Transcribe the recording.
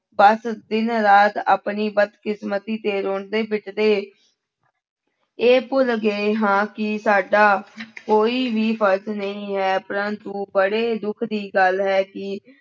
ਬਸ ਦਿਨ ਰਾਤ ਆਪਣੀ ਬਦਕਿਸਮਤੀ ਤੇ ਰੋਂਦੇ ਪਿੱਟਦੇ ਇਹ ਭੁੱਲ ਗਏ ਹਾਂ ਕਿ ਸਾਡਾ ਕੋਈ ਵੀ ਫ਼ਰਜ਼ ਨਹੀਂ ਹੈ ਪਰੰਤੂ ਬੜੇ ਦੁੱਖ ਦੀ ਗੱਲ ਹੈ ਕਿ